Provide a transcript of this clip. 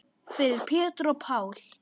Fyrir Pétur og Pál.